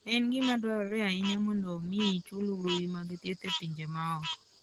En gima dwarore ahinya mondo omi ichul gowi mag thieth e pinje ma oko.